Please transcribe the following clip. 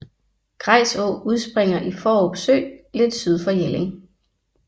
Grejs Å udspringer i Fårup Sø lidt syd for Jelling